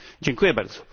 Dziękuję bardzo.